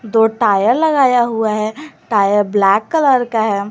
दो टायर लगाया हुआ है टायर ब्लैक कलर का है।